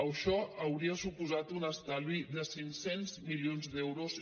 això hauria suposat un estalvi de cinc cents milions d’euros